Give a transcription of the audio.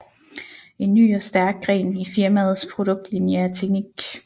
En ny og stærk gren i firmaets produktlinje er teknik